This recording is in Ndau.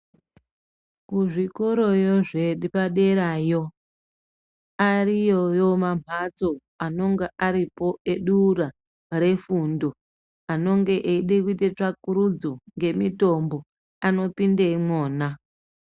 Kuzvikoroyo zvepaderayo ariyoyo mamhatso anonga aripo edura refundo anenge eida kuita tsvakurudzo dzemutombo anopinda imwona.